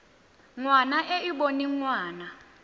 ngwana e e boneng ngwana